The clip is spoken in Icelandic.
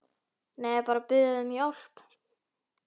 Nei, bara að biðja þig um hjálp.